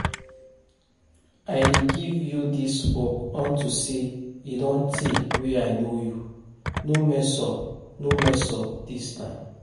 I dey give you dis work unto say e don tey wey I know you, no mess up no mess up dis time